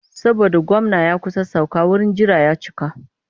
Saboda gwamna ya kusa sauka wurin jira ya cika.